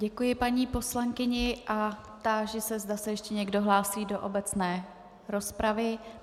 Děkuji paní poslankyni a táži se, zda se ještě někdo hlásí do obecné rozpravy.